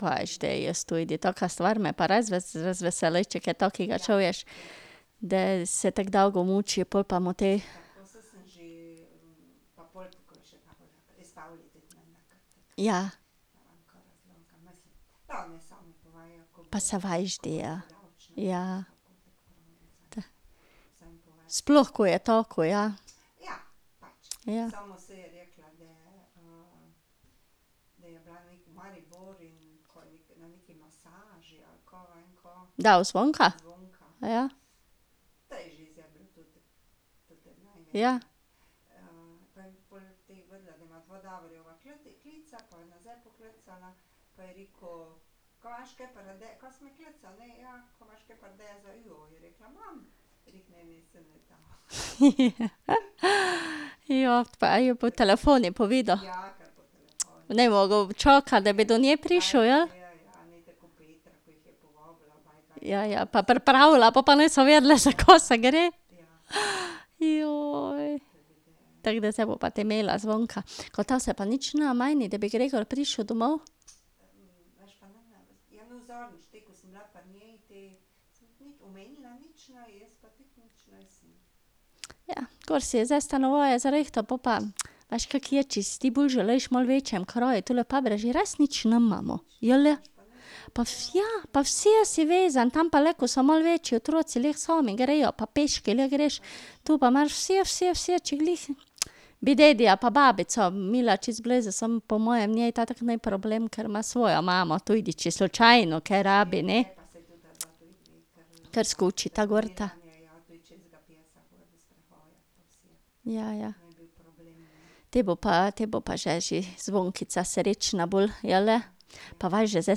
Veš, da, jaz tudi, taka stvar me pa res razveseli, če kaj takega čuješ. Da se tako dolgo muči, pol pa mu te ... Ja. Pa saj veš, da je. Ja. Sploh ko je tak, ko je. Ja. Kdo, Zvonka? Ja. pa ji je po telefonu povedal? Ni mogel čakati, da bi do nje prišel, jeli? Ja, ja, pa pripravila, pol pa niso vedele, za kaj se gre. Tako da zdaj bo pa te imela Zvonka. Ka to se pač ne meni, da bi Gregor prišel domov? Ja, gor si je zdaj stanovanje zrihtal, po pa ... veš, kako je, če si ti bolj želiš v malo večjem kraju, tule v res nič nimamo. Jeli? Pa ja, pa vse si vezan, tam pa le, ko so malo večji otroci lahko sami grejo, pa peške lahko greš. Tu pa moraš vse, vse, vse, če glih ... Bi dedija pa babico imela čisto blizu, samo po moje njej to tako ni problem, ker ima svojo imamo, tudi če slučajno kaj rabi, ne. Kar skočita gorta. Ja, ja. Potem bo pa, potem bo pa že, že Zvonkica srečna bolj, jeli? Pa veš da, zdaj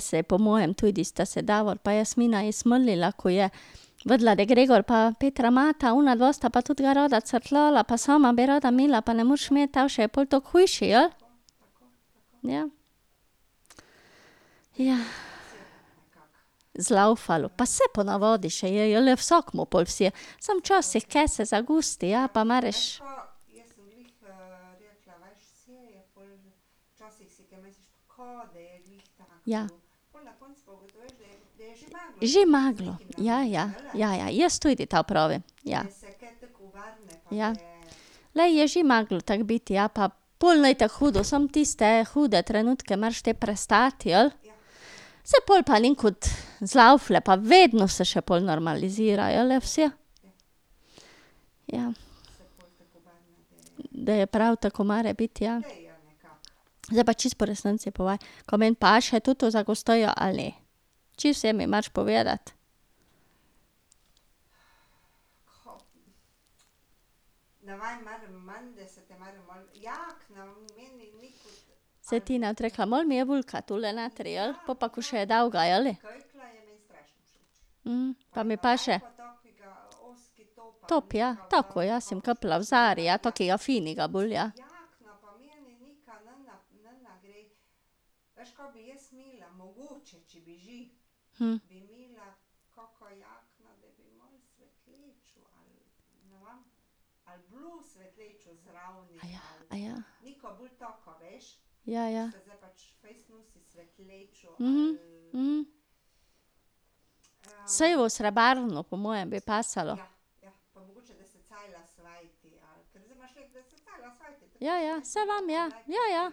se je po mojem tudi, sta se Davor pa Jasmina ji smilila, ko je vedela, da Gregor pa Petra imata, onadva sta pa tudi ga rada crkljala pa sama bi rada imela, pa ne moreš imeti, te še je pol tako hujše, jeli? Ja. Zlaufalo. Pa saj ponavadi še je, jeli, vsakemu pol vse, samo včasih kaj se zagosti, ja, pa moraš ... Ja. Že moralo. Ja, ja. Ja, ja, jaz tudi tako pravim, ja. Ja. Glej, je že moralo tako biti, ja, pa pol ni tako hudo, samo tiste hude trenutke moraš te prestati, jeli? Saj pol pa nekod zlaufa, pa vedno se še pol normalizirajo, jeli, vse? Ja. Da je prav tako, mora biti, ja. Zdaj pa čisto po resnici povej, ka meni paše toto za gostjo ali ne? Čisto vse mi moraš povedati. Saj Tina je tudi rekla, malo mi je velika tule notri, jeli? Pol pa ko je še dolga, jeli? pa mi paše? Top, ja, tako, ja, si bom kupila v Zari, ja, takega finega bolj, ja. Ja, ja. Saj v srebrno po mojem bi pasalo. Ja, ja, saj vem, ja, ja ja.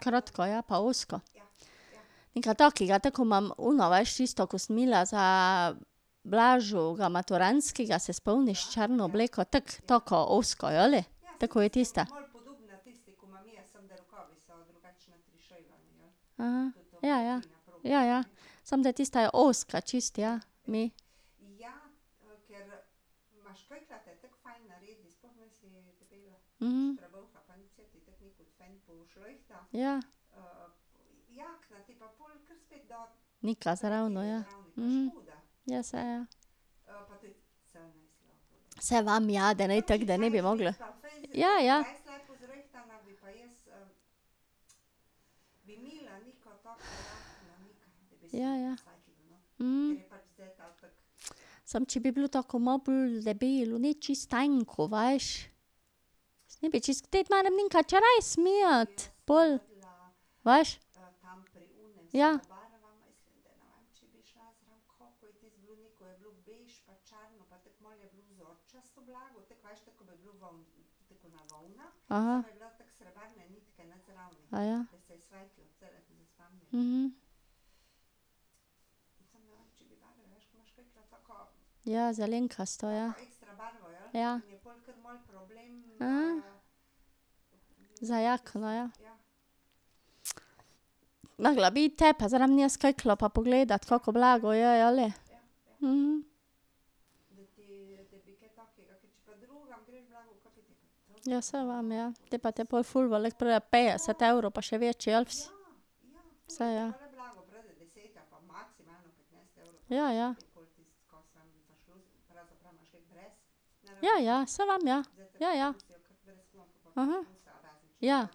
Kratka je, pa ozka. Nekaj takega, tako ko imam ono, veš, tisto, ko sem imela za Blaževega maturantskega, se spomniš? Črno obleko, tako, taka ozka, jeli? Tako, kot je tista. Ja, ja. Ja, ja. Samo da tista je ozka čisto, ja, mi. Ja. Nekaj zraven, ja. Ja, saj je. Saj vem, ja, da ne tako, da ne bi mogla ... Ja, ja. Ja, ja. Samo če bi bilo tako malo bolj debelo, ne čisto tanko, veš. Ne bi čisto pol. Veš. Ja. Ja, zelenkasto, ja. Ja. Za jakno, ja. morala bi iti te pa zraven nje s kiklo pa pogledati, kako blago je, jeli? Ja, saj vem, ja. Te pa te pol ful veliko pride, petdeset evrov pa še več, jeli? Saj, ja. Ja, ja. Ja, ja, saj vem, ja. Ja, ja. Ja.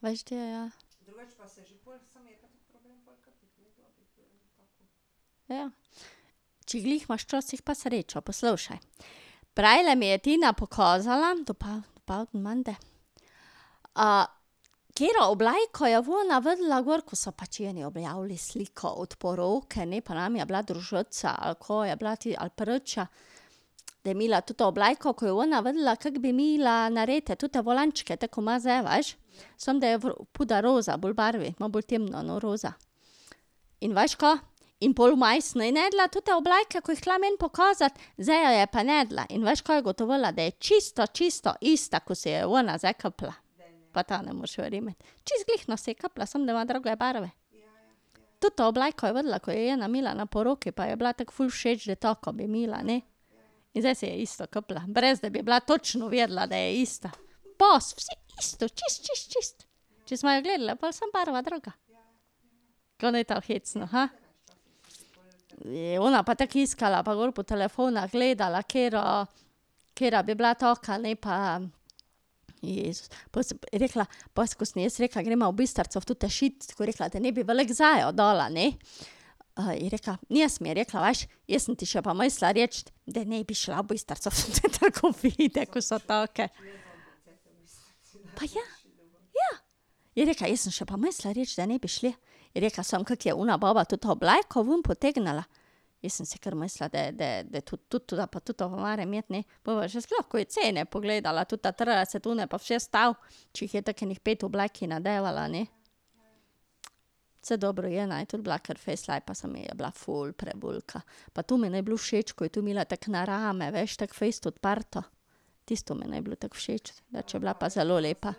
Veš de, ja. Ja. Če glih imaš včasih pa srečo, poslušaj. Prejle mi je Tina pokazala, dopoldne menda, katero obleko je ona videla gor, ko so pač eni objavili sliko od poroke, ne, pa njim je bila družica ali ka, je bila te, ali priča, da je imela toto obleko, ko je ona videla kako bi imela narejene tote volančke, tako ko ima zdaj, veš, samo da je puder roza bolj barve, malo bolj temno, no, roza. In veš ka? In pol vmes ni našla tote obleke, ko je hotela meni pokazati, zdaj jo je pa našla in veš, kaj je ugotovila? Da je čisto čisto ista, ko si jo je ona zdaj kupila. Pa to ne moreš verjeti. Čisto glihno si je kupila, samo da ima druge barve. Toto obleko je videla, ko jo je ena imela na poroki, pa ji je bila tako ful všeč, da tako bi imela, ne. In zdaj si je isto kupila, brez da bi bila točno vedela, da je ista. Pas, vse isto, čisto, čisto, čisto. Če smo jo gledale pol, sam barva druga. Ke ni to hecno, Ona pa tako iskala, pa gor po telefonu gledala, katera, katera bi bila taka lepa iz, pol je rekla, pol, ko sem jaz rekla, gremo v Bistrico v tote šit, ko je rekla, da ne bi veliko zanjo dala, ne. je rekla, danes mi je rekla: "Veš, jaz sem ti še pa mislila reči, da naj bi šla v Bistrico v te trgovine, ko so take." Ja. Je rekla, jaz sem še pa mislila reči, da ne bi šle. Je rekla: "Samo, kako je ona baba toto obleko ven potegnila, jaz sem si kar mislila, da, da, tu, tu, da pa toto moram imeti, ne." Pol pa še sploh, ko je cene pogledala, ta trideset, one pa. Če jih tako enih pet oblek nadevala, ne. Saj dobro, ena je tudi bila kar fejst lepa, samo mi je bila ful prevelika. Pa to mi ni bilo všeč, ko je tu imela tako na rame, veš, tako fejst odprto. Tisto mi ni bilo tako všeč, drugače je bila pa zelo lepa.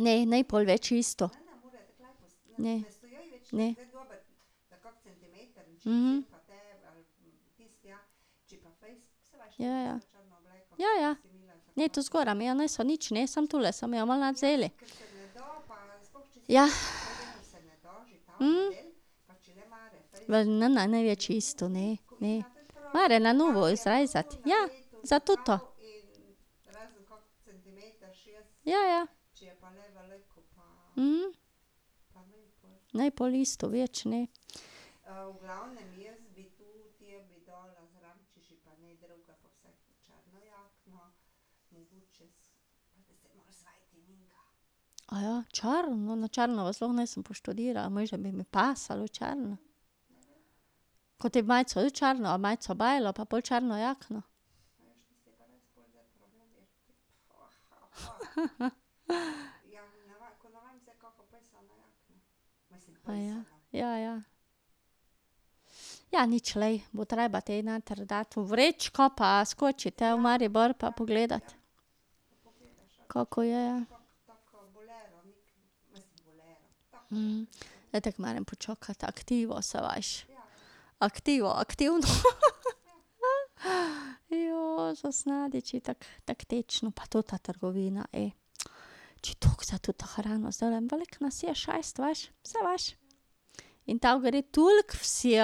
Ne, ne pol več isto. Ne. Ne. Ja, ja. Ja, ja. Ne, tu zgoraj mi je niso nič, ne, samo tule so mi jo malo vzeli. Ne, ni več isto, ne, ne. Mora na novo zrezati, ja. Za toto. Ja, ja. Ni pol isto več, ne. Črno, na črno pa sploh nisem poštudirala, misliš, da bi mi pasalo črno? majico tudi črno ali majico belo pa pol črno jakno? Ja, ja. Ja, nič, glej, bo treba te noter dati v vrečko pa skočiti te v Maribor pa pogledati. Kako je, ja. So veliki vsi,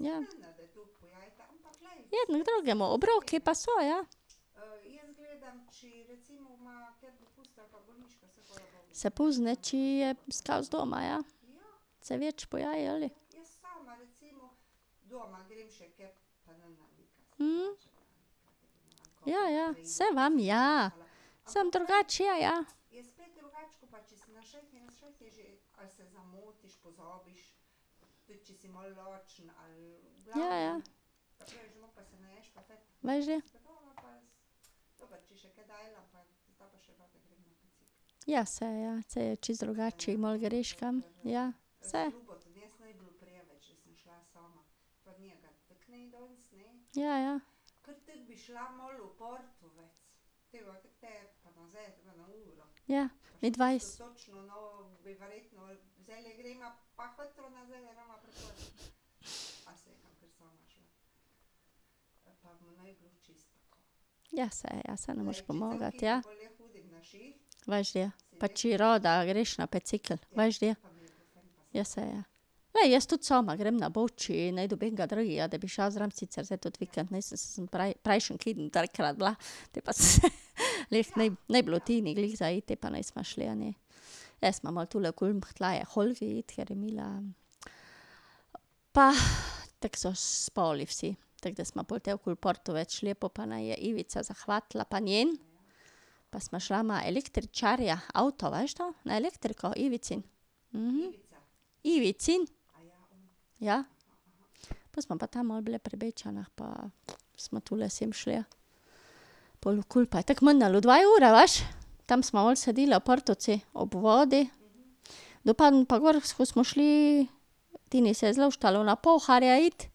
ja. Ja. Jedno k drugemu, obroki pa so, ja. Se pozna, če je skozi doma, ja. Se več poje, jeli? Ja, ja. Saj vem, ja. Samo drugače je, ja. Ja, ja. Veš da. Ja, saj, ja. Saj je čisto drugače, če malo greš kam. Ja. Saj. Ja, ja. Ja. Ja, saj ja, saj ne moreš pomagati, ja. Veš da. Pa če rada greš na bicikel, veš da. Ja, saj, ja. Glej, jaz tudi sama grem na Bovč, če ne dobim enega drugega, da bi šel zraven, sicer zdaj tudi vikend nisem, saj sem prejšnji keden trikrat bila. Potem pa glih, ni bilo Tini glih za iti pa nisva šli, ne. Šli smo malo tule okoli, hotela je k Olgi iti, ker je imela ... pa tako so spali vsi, tako da smo pol te okoli Partovec šli, po pa naj je Ivica zahvatila pa njen. Pa sva šla na električarja, avto veš da, na elektriko, Ivicin. Ivicin. Ja. Pol smo pa tam malo bile pri Bečanih pa smo tule sem šle, pol okoli pa je tako minilo dve uri, veš. Tam smo malo sedele v Partovci ob vodi, do pa gor smo šli, Tini se je zluštalo na Pouharje iti,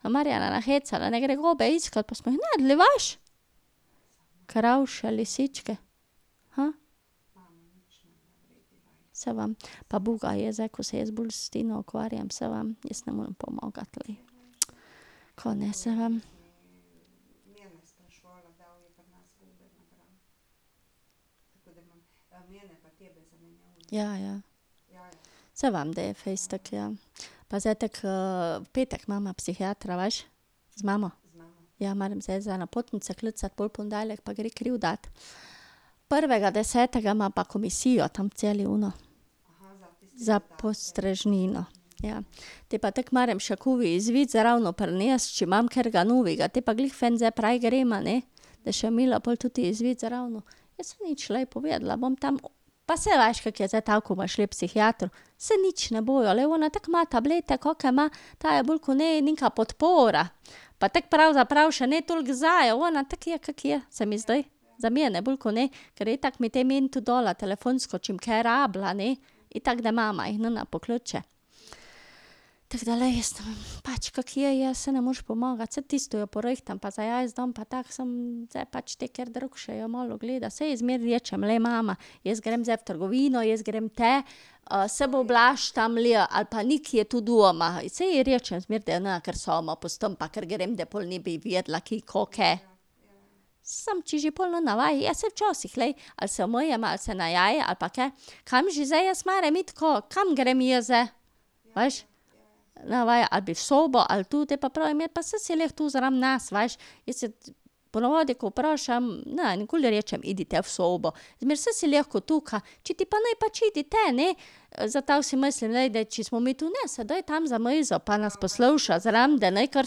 smo Marjana nahecale, naj gre gobe iskat pa smo jih našli, veš. Krauše, lisičke. Saj vem. Pa uboga je zdaj, ko se jaz bolj s Tino ukvarjam, saj vem, jaz ne morem pomagati, glej. Ka naj, saj vem. Ja, ja. Saj vem, da je fejst tako, ja. Pa zdaj tako v petek imava psihiatra, veš. Z mamo. Ja, moram zdaj za napotnico klicati pol v ponedeljek pa gre kri dati. Prvega desetega ima pa komisijo tam v Celju ona. Za postrežnino. Ja. Potem pa tako moram še covid izvid zraven prinesti, če imam katerega novega, te pa glih fajn zdaj prav greva, ne. Da še bom imela toti izvid zraven. Saj nič, glej, povedala bom tam. Pa saj veš, kako je zdaj to, ko bomo šle k psihiatru. Saj nič ne bojo, glej, ona tako ma tablete, kake ima, ta je bolj ko ne neka podpora. Pa tako pravzaprav še ne toliko zanjo, ona tako je, kako je, se mi zdi. Za mene bolj kot ne. Ker je itak mi te meni tudi dala telefonsko, če bom kaj rabila, ne. Itak da mama jih ne pokliče. Tako da, glej, jaz ne vem, pač kako je, je, saj ne moreš pomagati, saj tisto jo porihtam pa za jesti dam pa tako, samo zdaj pač tek, ker drug še jo malo gleda, saj jaz zmeraj rečem, glej, mama jaz grem zdaj v trgovino, jaz grem te, saj bo Blaž tam ali pa Nik je tudi doma, saj ji rečem zmeraj, da je ne kar sama pustim pa kar grem, da pol ne bi vedela, ki ko ke. Samo če že pol ne ve, ja saj včasih, glej, ali se umije ali se naje ali pa kaj, kam že zdaj jaz moram iti, ka, kam grem jaz zdaj? Veš. Ne ve, ali bi v sobo ali tu, potem pa pravim, ja pa saj si lahko tu zraven nas, veš. Jaz ponavadi, ko vprašam, ne nikoli rečem, pojdi te v sobo, zmeraj saj si lahko tukaj, če ti pa ne, pač pojdi te, ne. Zato si mislim, glej, da če smo mi tu, ne, se daj tam za mizo pa nas posluša zraven, da ni kar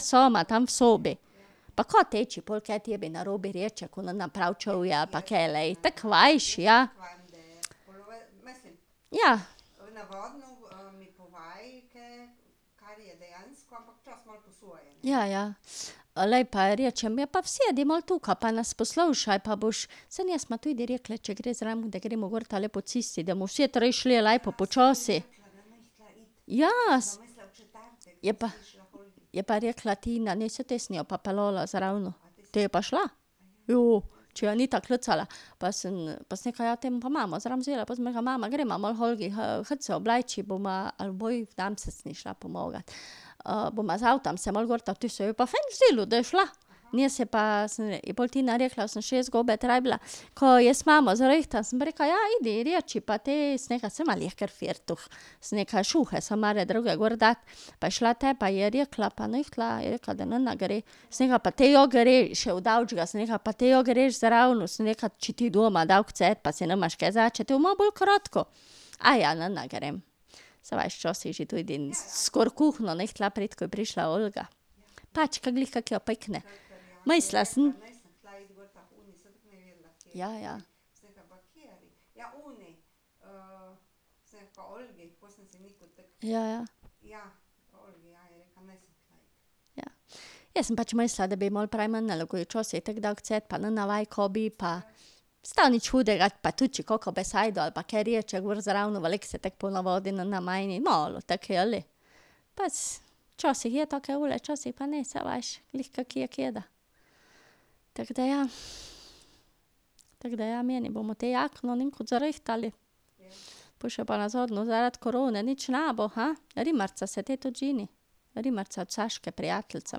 sama tam v sobi. Pa ka te, če pol kaj tebi narobe reče, ko ne prav čuje ali pa kaj, glej, tako veš, ja. Ja. Ja, ja. Glej, pa ji rečem: "Ja, pa sedi malo tukaj pa nas poslušaj pa boš, saj ne smo tudi rekle, če gre zraven, da gremo gor tule po cesti, da bomo vse tri šle lepo počasi." Ja. Je pa ... Je pa rekla Tina, naj se te sem jo pa peljala zraven. Te je pa šla. Jo. Če jo je Anita klicala, pa sem, pa sem rekla: "Ja, te bom pa mamo zraven vzela." Pa sem rekla: "Mama greva malo k Olgi, hit se obleči bova , bomo z avtom se malo gor ta ." Tu je ji je pa fajn zdelo, da je šla. Danes se pa ... sem, je pol Tina rekla: "Sem, še jaz gobe trebila, ka jaz imamo zrihtam?" Sem rekla: "Ja, pojdi, ji reči pa te," sem rekla, "saj ima lahko firtoh," sem rekla, "šuhe samo ene druge gor daj." Pa je šla, te pa je rekla pa ni hotela, je rekla, da ne gre. Sem rekla: "Pa te ja greš, ." Sem rekla: "Pa, te ja greš zraven," sem rekla, "če ti je doma dolgcajt pa si nimaš kaj , ti bo malo bolj kratko." ne grem." Saj veš, včasih že tudi skoraj v kuhinjo ni hotela priti, ko je prišla Olga. Pač ke glih kako jo pikne. Mislila sem ... Ja, ja. Ja, ja. Jaz sem pač mislila, da bi ji malo prej minilo, ko ji včasih tako dolgcajt pa ne ve, kaj bi pa, saj nič hudega, pa tudi če kako besedo ali pa kaj reče gor zraven, veliko se tako ponavadi ne meni, malo, tako, jeli? Po še pa nazadnje zaradi korone nič ne bo, Rimarca se potem tudi ženi. Rimarca, od Saške prijateljica,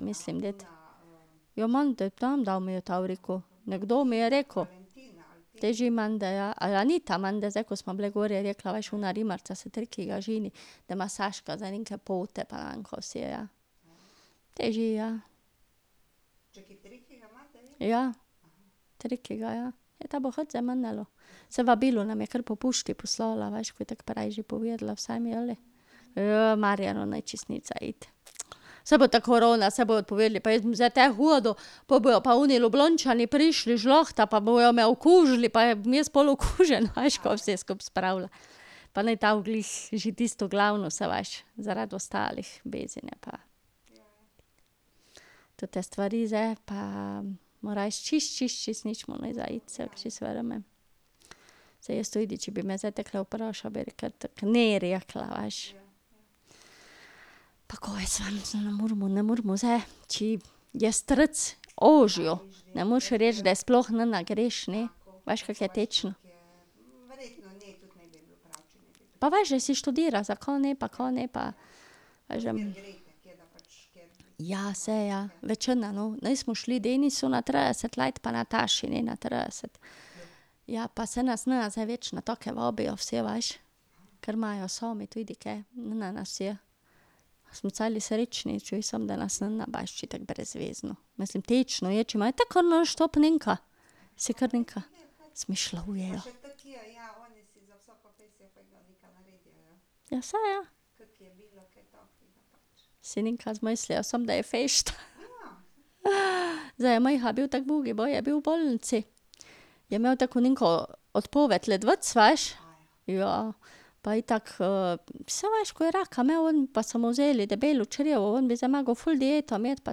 mislim deti. Ja, menda tam dal, mi je to rekel. Nekdo mi je rekel. Teži je menda, ja, ni ta menda zdaj, ko sva bile gor, rekla: "Veš, ona Rimarca se ženi." Da ima Saška zdaj neke pa ne vem ka vse, ja. Te že je. Ja, trikega, ja. Ja, to bi hitro zdaj minilo. Saj vabilo nam je kar po pošti poslala, veš, ko je tako že prej povedala vsem, jeli. Marjanu ni čisto nič za iti. Saj bo ta korona, saj bodo odpovedali, pa jaz bom zdaj tja hodil, pol bojo pa oni Ljubljančani prišli, žlahta, pa bojo me okužili pa pa bom jaz pol okužen, a veš, ka vse skupaj spravlja. Pa naj to glih že tisto glavno, saj veš. Zaradi ostalih, . Te stvari zdaj pa mu res čisto čisto čisto nič mu ni za iti, saj jaz mu čisto verjamem. Saj jaz tudi, če bi me zdaj takole vprašal, bi rekla tako ne rekla, veš. Pa kaj jaz vem, ne moremo, ne moremo zdaj, če je strci ožjo, ne moreš reči, da sploh ne greš, ne. Veš, kako je tečna. Pa veš da, saj študira, zakaj ne pa ka ne pa ... Veš da ... Ja, saj ja, večina, no, nismo šli k Denisu na trideset let pa Nataši ne na trideset. Ja, pa saj nas ne zdaj več na take vabijo vse, veš. Ker imajo sami tudi kaj, ne nas vseh. Smo celi srečni, čuj, samo da nas ne , drugače je tako brezvezno, mislim, tečno je, če imajo tako nonstop nenka. Si kar nekaj izmišljujejo. Ja, saj, ja. Si nekaj zmislijo, samo da je fešta. zdaj je Miha bil tako ubogi, baje je bil v bolnici. Je imel tako neko odpoved ledvic, veš. Ja. Pa itak saj veš, ko je raka imel on pa so mu vzeli debelo črevo ven, bi zdaj moral ful dieto imeti pa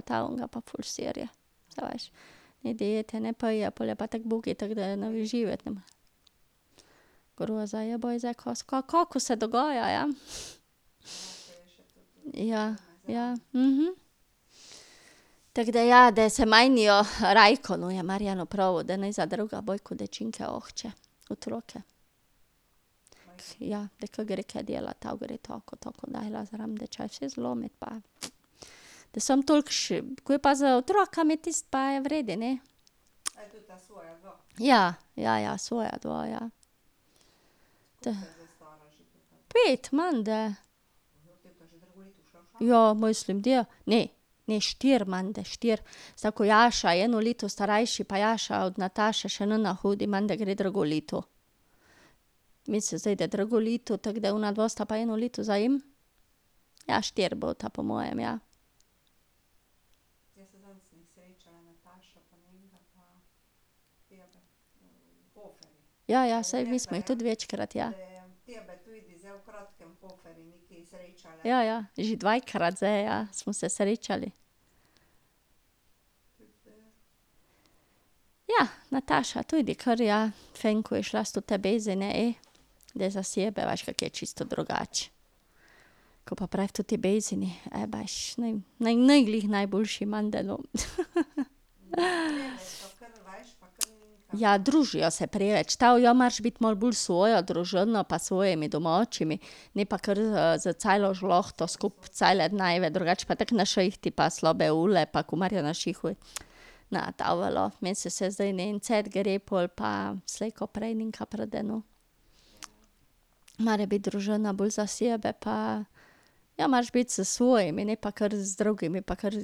to, on ga pa ful serje. Saj veš. Ni diete, ne, pa je, pol je pa tako ubogi, tako da živeti ne more. Groza je, kako se dogaja, ja. Ja, ja. Tako da ja, da se menijo, Rajko, no, je Marjanu pravil, da naj za druge . Otroke ... Ja, zdaj, ke gre tja delat, to gre tako, tako . Da samo toliko še ... Ko je pa z otroci tisto, pa je v redu, ne. Ja. Ja, ja, svoja dva, ja. Pet menda. Ja, mislim da. Ne, ne štiri menda, štiri. Ker Jaša je eno leto starejši pa Jaša od Nataše še ne hodi, menda gre drugo leto. Mislim zdaj da drugo leto, tako da onadva sta pa eno leto za njim. Ja štiri bosta po mojem, ja. Ja, ja, saj mi smo jih tudi večkrat, ja. Ja, ja, že dvakrat zdaj, ja, smo se srečali. Ja, Nataša tudi kar ja, vem, ko je šla s te Bezine, ej, da za sebe, veš, kako je čisto drugače, ko pa prej v toti Bezini, e, beži, ni, ni glih najboljše menda, no, Ja, družijo se preveč, to ja moraš biti bolj s svojo družino pa s svojimi domačimi, ne pa kar z, s celo žlahto skupaj cele dneve, drugače pa tako na šihtu pa pa, ko Marjan na šiht hodi. Ne ta velja, meni se zdi, da na en cajt gre, pol pa slej ko prej nekaj pride, no. Mora biti družna bolj za sebe pa, ja, moraš biti s svojimi, ne pa kar z drugimi pa ker .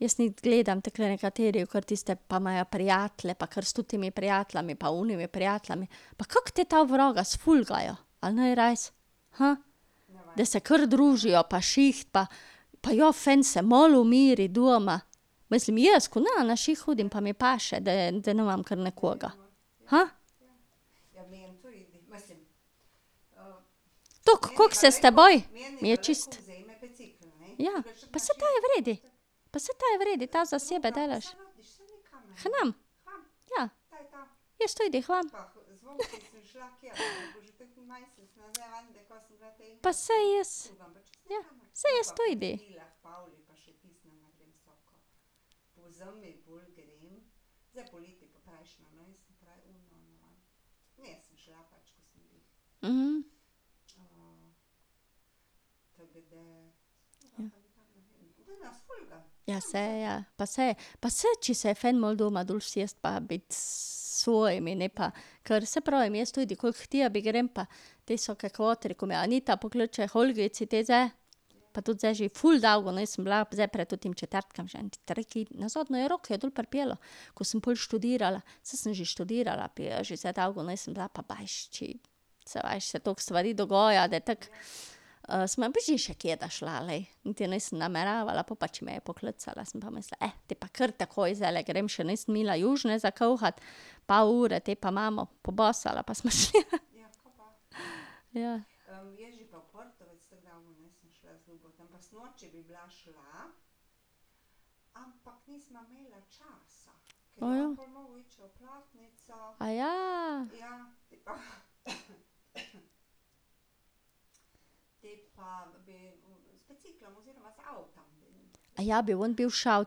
Jaz gledam takole nekateri ker tiste pa imajo prijatelje pa kar s totimi prijatelji pa onimi prijatelji. Pa kako te ta vraga sfolgajo? A ni res? Da se kar družijo pa šiht pa pa ja fan se malo umiri doma. Mislim jaz, ko ne na šiht hodim pa mi paše, da, da nimam kar nekoga. Toliko koliko se s teboj ... Ja, pa saj to je v redu. Pa saj to je v redu, ta za sebe delaš. K nam. Ja. Jaz tudi, k vam. Pa saj jaz ... Saj jaz tudi. Ja, saj ja. Pa saj ... Pa saj, če se je fajn malo doma dol usesti pa biti s svojimi, ne pa ... Ker, saj pravim, jaz tudi, koliko k tebi grem pa, te vsake kvatre, ko me Anita pokliče, k Olgici te zdaj, pa tudi zdaj že ful dolgo nisem bila, zdaj pred totim četrtkom, že ene tri kedne nazaj, nazadnje jo Rok je dol pripeljal. Ko sem pol študirala, saj sem že študirala, zdaj že dolgo nisem bila pa beži, če ... Saj veš, se toliko stvari dogaja, da tako ... sem še kdaj šla, glej, niti nisem nameravala, pol pa če me je poklicala, sem pa mislila, te pa kar takoj zdajle grem, še nisem imela južine za kuhati, pol ure te pa imamo, pobasala pa sem šla, Ja. Aja bi on bil šel,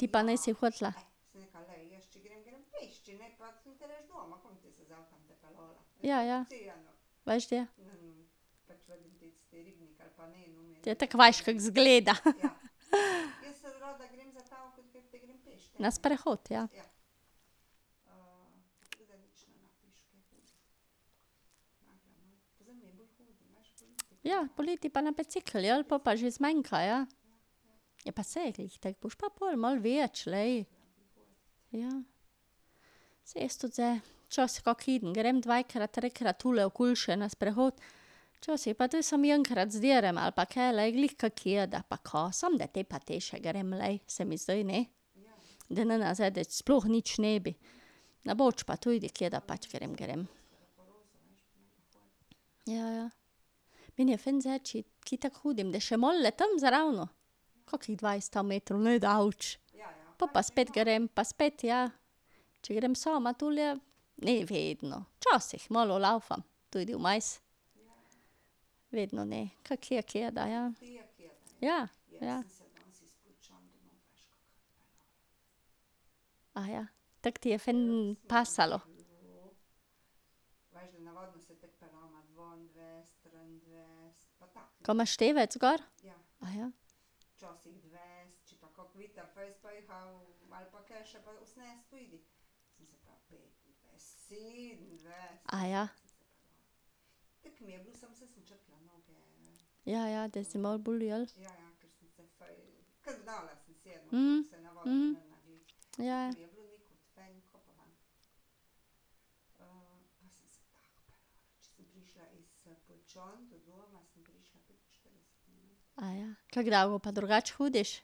ti pa nisi hotela? Ja, ja. Veš da. Ja, tako veš, kako izgleda, Na sprehod, ja. Ja, poleti pa na bicikel, jeli, pol pa že zmanjka, ja. Ja, pa saj je glih tako, boš pa pol malo več, glej. Ja. Saj jaz tudi zdaj, včasih kak keden grem dvakrat, trikrat tule okoli še na sprehod, včasih pa tudi samo enkrat ali pa kaj, glej, glih kako kdaj pa kaj, samo da te pa te še grem, glej, se mi zdi, ne. Da nenazadnje sploh nič ne bi. Na Boč pa tudi kdaj pač grem, grem. Ja, ja. Meni je fajn zdaj, če kje tako hodim, da še malo zraven. Kakih dvajset metrov, ne daleč. Pol pa spet grem, pa spet, ja. Če grem sama tule, ne vedno. Včasih malo lavfam tudi vmes. Vedno ne, kako je kdaj, ja. Ja, ja. Tako ti je fajn pasalo? Ka imaš števec gor? Ja, ja, da si malo bolj, jeli? ja, ja. Kako dolgo pa drugače hodiš?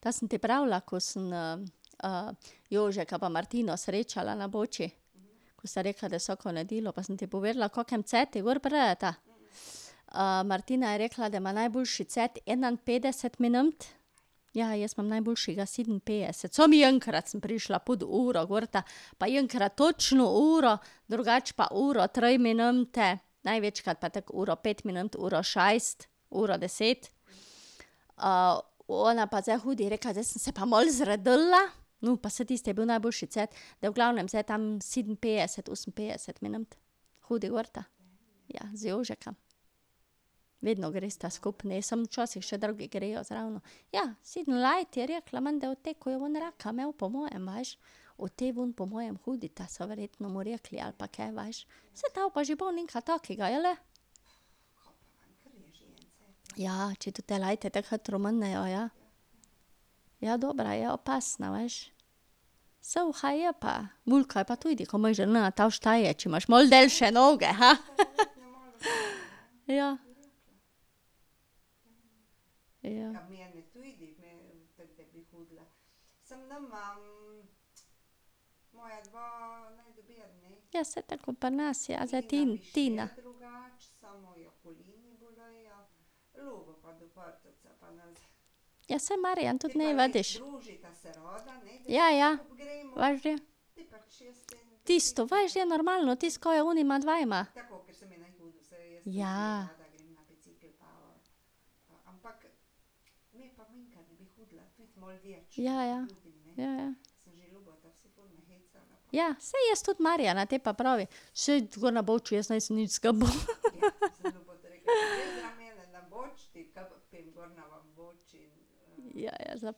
To sem ti pravila, ko sem Jožka pa Martino srečala na Boči. Ko sta rekla, da vsako nedeljo, pa sem ti povedala v kakem cajtu gor prideta? Martina je rekla, da ima najboljši cajt enainpetdeset minut, ja, jaz imam najboljšega sedeminpetdeset, samo enkrat sem prišla pod uro gor, pa enkrat točno uro, drugače pa uro tri minute, največkrat pa tako uro pet minut, uro šest, uro deset. ona pa zdaj hodi, je rekla, zdaj sem se pa malo zredila, no, pa saj tisto je bil najboljši cajt, v glavnem zdaj tam sedeminpetdeset, oseminpetdeset minut hodi gorta. Z Jožkom. Vedno gresta skupaj, ne, samo včasih še drugi grejo zraven. Ja, sedem let je rekla menda od tega, ko je on raka imel po mojem, veš. Od te ven po mojem hodita, so verjetno mu rekli ali pa kaj, veš. Saj to pa že bo nekaj takega, jeli? Ja, če tota leta tako hitro minejo, ja. Ja, dobra je, opasna, veš. Suha je pa velika je pa tudi, kaj misliš, da ne to šteje, če imaš malo daljše noge, Ja. Ja, saj tako ko pri nas, ja, zdaj Tina. Ja, saj Marjan tudi . Ja. ja. Veš da. Tisto, veš, da je normalno, tisto, kar je med onima dvema. Ja. Ja, ja. Ja, ja. Ja, saj jaz tudi Marjana, te pa pravi, saj jaz gor na Bouči jaz nisem nič , Ja, ja.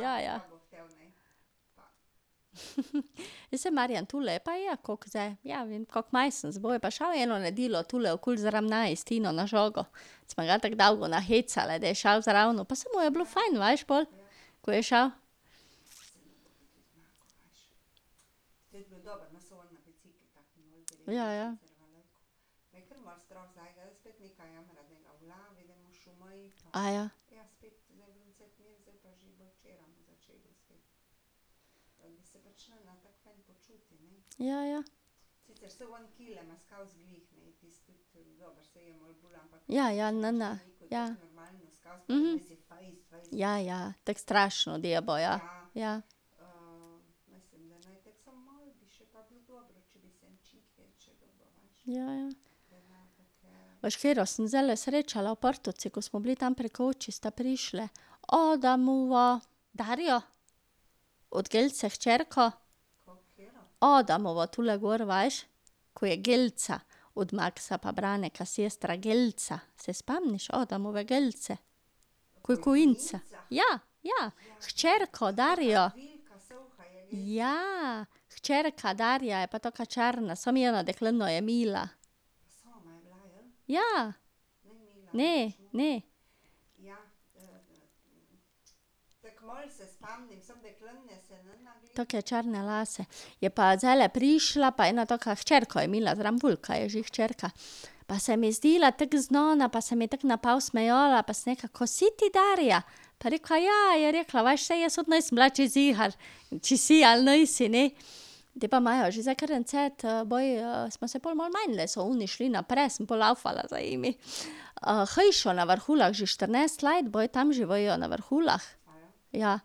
Ja, ja. Ja, saj Marjan tule je pa je koliko zdaj, ja, vem, kak mesec , je pa šel eno nedeljo tule okoli . Smo tako dolgo nahecale, da je šel zraven, pa saj mu je bilo fajn, veš, pol, ko je šel. Ja, ja. Ja, ja. Ja ja, ne, ja. Ja, ja, tako strašno, da bo, ja. Ja, ja. Veš, katero sem zdajle srečala v Portovci, ko smo bili tam pri koči, sta prišli, Adamova Darja, od Gelce hčerka. Adamova, tule gor, veš? Ko je Gelca. Od Maksa pa Branka sestra, Gelca. Se spomniš Adamove Gelce? Ko je . Ja, ja. Hčerka Darja. Ja. Hčerka Darja je pa taka črna, samo mila. Ja. Ne, ne. Take črne lase. Je pa zdajle prišla pa ena taka, hčerko je malo zraven, velika je že hčerka. Pa se mi je zdela tako znana pa se mi je tako napol smejala pa sem rekla: "Ko si ti Darja?" Pa je rekla: "Ja," je rekla, "veš, saj jaz tudi nisem bila čisto ziher, če si ali nisi, ne." Te pa imajo že zdaj kar en cajt baje, smo se pol malo menile, so oni šli naprej, sem pol lavfala za njimi. hišo na Vrhulah, že štirinajst let bojo tam živijo, na Vrhulah. Ja.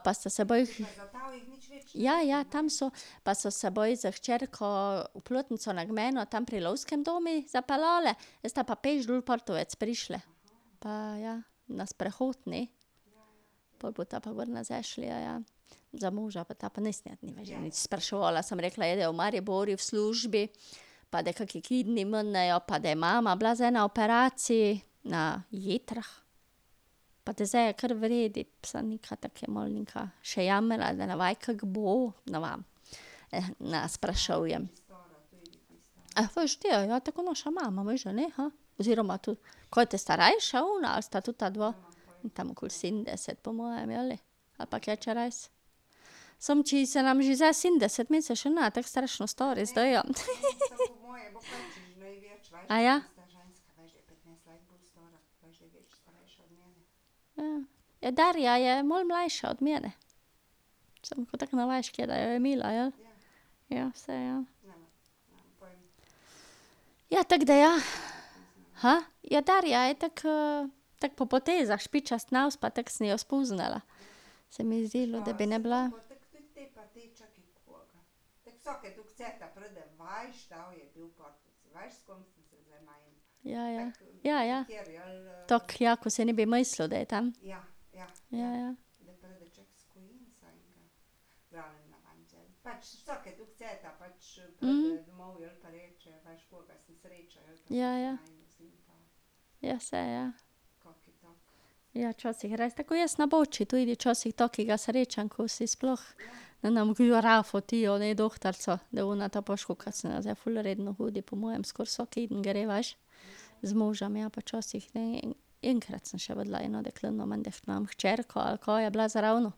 pa sta se ... Ja, ja, tam so. Pa so se baj z hčerko v Plotnico na gmajno, tam pri lovskem domu zapeljale, zdaj sta pa peš dol v Portovec prišli. Pa ja ... Na sprehod, ne. Pol bosta pa gor nazaj šle, ja, ja. Za moža pa ta pa nisem nič spraševala, samo rekla je, da je v Mariboru v službi, pa da kako ji kedni minejo, pa da je mama bila zdaj na operaciji na jetrih. Pa da zdaj je kar v redu, samo nekaj tako je malo nekaj, še jamra, da ne ve, kako bo, ne vem. Ne sprašujem. veš da, ja, to je kot naša mama, misliš da ni, Oziroma ... Kaj te starejša ona ali sta tudi ta dva? Tam okoli sedemdeset po mojem, jeli? Ali pa kaj čez. Samo če se nam že zdaj sedemdeset meni se še ne tako strašno stari zdijo, Ja. Ja, Darja je malo mlajša od mene. Samo ko tako ne veš, katera jo je imela, jeli? Ja, saj ja. Ja, tako da ja. Ja, Darja je tako tako po potezah, špičast nos, pa tako sem jo spoznala. Se mi je zdelo, da bi naj bila. Ja, ja. Ja, ja. Tako, ja, ko si ne bi mislil, da je tem. Ja, ja. Ja, ja. Ja, saj, ja. Ja, včasih res, tako ko jaz na Bouči tudi včasih takega srečam, ko si sploh ... Ne , ti jo ono dohtarico, da ona te, pa veš kolikokrat sem zdaj ful redno hodi, po mojem skoraj vsak keden gre, veš. Z možem, ja, pa včasih ne, enkrat sem še videla eno deklino, menda hčerka ali kaj, je bila zraven.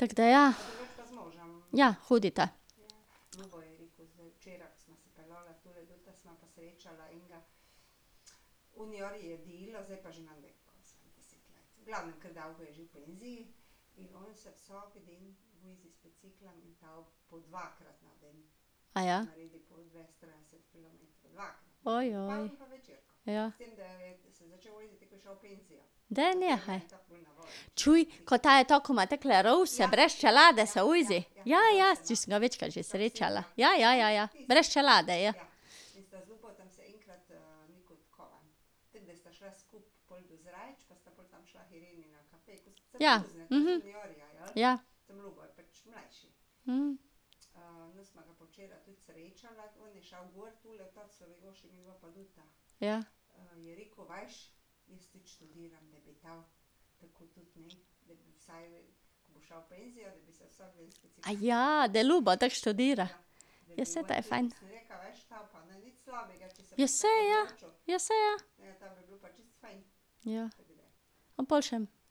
Tako da, ja. Ja, hodita. Ja. Daj nehaj. Čuj, kaj to je, ta, ki ima takole rouse, brez čelade se vozi? Ja, ja, če sem ga večkrat že srečala. Ja, ja, ja, ja. Brez čelade je. Ja, Ja. Ja. da Ljubo tako študira? Ja, saj to je fajn. Ja, saj, ja. Ja, saj, ja. Ja.